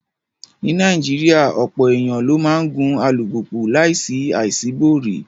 Ní Nàìjíríà, ọ̀pọ̀ èèyàn ló máa ń gun alùpùpù láìsí àṣíborí